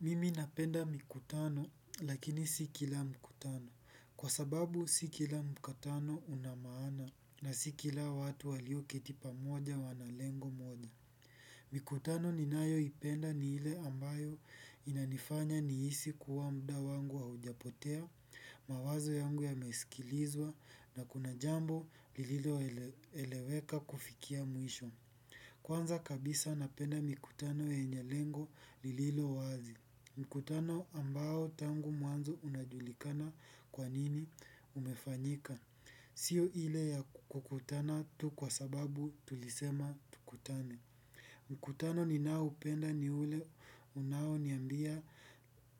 Mimi napenda mikutano lakini si kila mikutano kwa sababu si kila mkutano unamaana na si kila watu wali keti pamoja wana lengo moja. Mikutano ninayoipenda ni ile ambayo inanifanya nihisi kuwa muda wangu haujapotea, mawazo yangu yamesikilizwa na kuna jambo lililoeleweka kufikia mwisho. Kwanza kabisa napenda mikutano yenye lengo lililo wazi. Mikutano ambao tangu mwanzo unajulikana kwa nini umefanyika. Sio ile ya kukutana tu kwa sababu tulisema tukutane. Mkutano ninaoupenda ni ule unaoniambia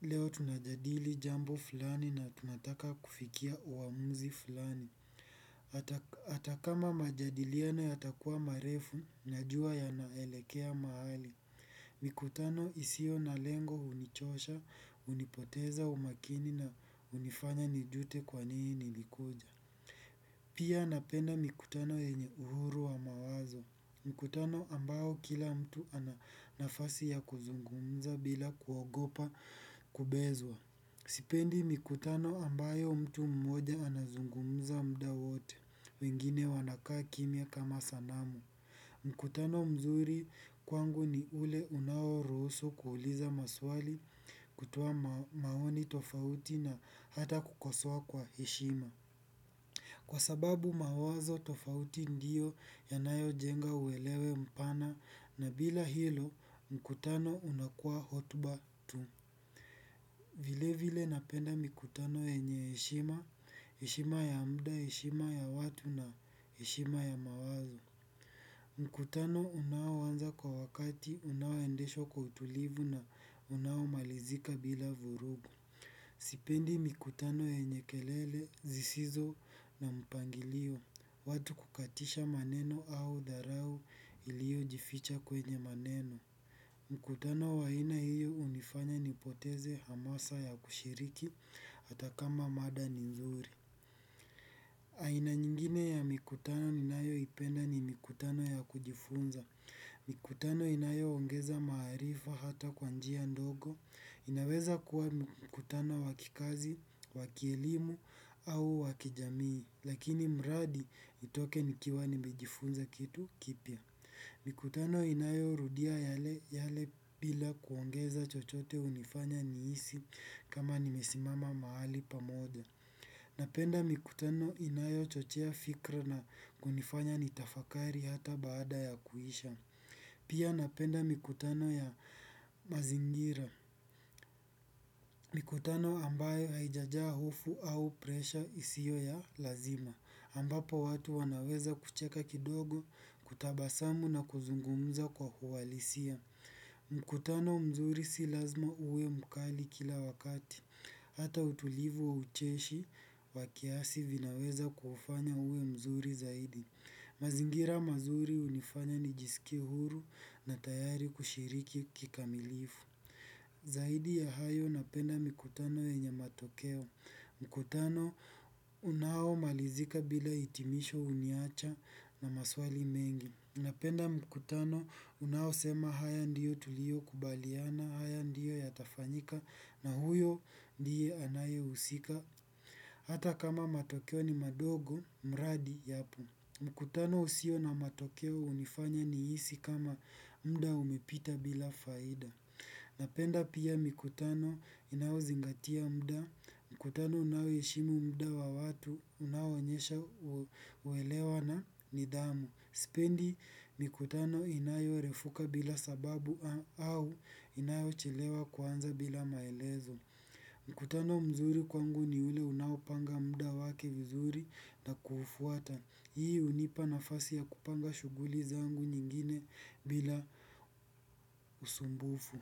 leo tunajadili jambo fulani na tunataka kufikia uamuzi fulani hata kama majadiliano yatakuwa marefu najua yanaelekea mahali. Mkutano isio na lengo hunichosha hunipoteza umakini na hunifanya nijute kwa nini nilikuja. Pia napenda mkutano yenye uhuru wa mawazo. Mkutano ambayo kila mtu ana nafasi ya kuzungumza bila kuogopa kubezwa. Sipendi mkutano ambayo mtu mmoja anazungumza mda wote. Wengine wanakaa kimya kama sanamu. Mkutano mzuri kwangu ni ule unao ruhusu kuuliza maswali kutoa maoni tofauti na hata kukosoa kwa heshima. Kwa sababu mawazo tofauti ndiyo yanayojenga uelewe mpana na bila hilo mkutano unakua hotuba tu. Vile vile napenda mkutano yenye heshima, heshima ya muda, heshima ya watu na heshima ya mawazo. Mkutano unaoanza kwa wakati unaoendeshwa kwa utulivu na unaomalizika bila vurugu sipendi mikutano yenye kelele sizizo na mipangilio. Watu kukatisha maneno au dharau iliojificha kwenye maneno. Mkutano wa aina hiyo hunifanya nipoteze hamasa ya kushiriki hata kama mada ni nzuri. Aina nyingine ya mikutano ninayoipenda ni mikutano ya kujifunza. Mikutano inayo ongeza maarifa hata kwa njia ndogo. Inaweza kuwa mikutano wa kikazi, wa kielimu au wa kijamii. Lakini mradi itoke nikiwa nimejifunza kitu kipya. Mikutano inayo rudia yale yale bila kuongeza chochote hunifanya nihisi kama nimesimama mahali pamoja. Napenda mikutano inayochochea fikra na kunifanya nitafakari hata baada ya kuisha. Pia napenda mikutano ya mazingira. Mikutano ambayo haijajaa hofu au presha isiyo ya lazima. Ambapo watu wanaweza kucheka kidogo, kutabasamu na kuzungumuza kwa uhalisia. Mkutano mzuri si lazima uwe mkali kila wakati. Hata utulivu wa ucheshi wa kiasi vinaweza kufanya uwe mzuri zaidi. Mazingira mazuri hunifanya nijisikie huru. Zaidi ya hayo napenda mkutano yenye matokeo mikutano unao malizika bila hitimisho huniacha na maswali mengi. Napenda mkutano unaosema haya ndiyo tulio kubaliana. Haya ndiyo yatafanyika na huyo ndiye anaye usika. Hata kama matokeo ni madogo, mradi yapo. Mkutano usio na matokeo hunifanya nihisi kama muda umepita bila faida. Napenda pia mikutano inayo zingatia muda. Mkutano unayoheshimu muda wa watu unaoonyesha uelewa na nidhamu. Sipendi mikutano inayorefuka bila sababu au inayochelewa kuanza bila maelezo Mkutano mzuri kwangu ni ule unaopanga muda wake vizuri na kuufuata. Hii hunipa nafasi ya kupanga shughuli zangu nyingine bila usumbufu.